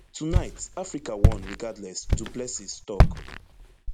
tonight africa won regardless du plessis tok